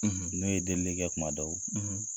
N'o ye delilikɛ kuma dɔw